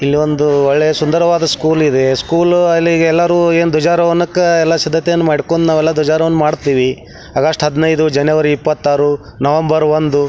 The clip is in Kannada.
ಇಲ್ಲಿ ಒಂದು ಒಳ್ಳೆಯ ಸುಂದರವಾದ ಸ್ಕೂಲ್ ಇದೆ ಸ್ಕೂಲ್ ಅಲ್ಲಿ ಯೇಲರು ಧ್ವಜ ರೋಹಣಕ್ಕ್ ಎಲ್ಲ ಸಿದ್ಧತೆ ಮಾಡ್ಕೊಂಡ್ ನಾವೆಲ್ಲ ಧ್ವಜರೋಹಣ ಮಾಡ್ತಿವಿ ಆಗಸ್ಟ್ ಹದಿನೈದ ಜನವರಿ ಇಪ್ಪತ್ತು ಆರು ನವೆಂಬರ್ ಒಂದು.